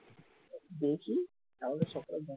দেখি তাহলে সকাল